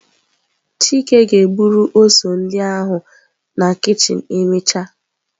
Chike ga-eburu ose ndị ahụ na kichin emechaa.